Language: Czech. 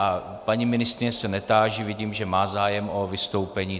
A paní ministryně se netáži, vidím, že má zájem o vystoupení.